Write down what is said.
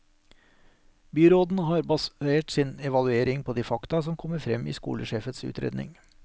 Byråden har basert sin evaluering på de fakta som kommer frem i skolesjefens utredning.